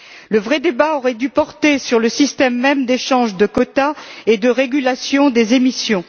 Le vrai débat aurait dû porter sur le système même d'échange de quotas et de régulation des émissions.